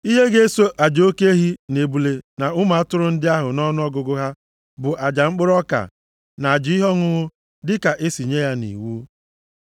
Ihe ga-eso aja oke ehi, na ebule na ụmụ atụrụ ndị ahụ nʼọnụọgụgụ ha, bụ aja mkpụrụ ọka, na aja ihe ọṅụṅụ dịka e si nye ya nʼiwu.